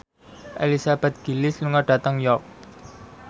Elizabeth Gillies lunga dhateng York